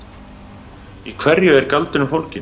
Í hverju er galdurinn fólginn?